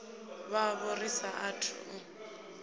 vhavho ri sa athu u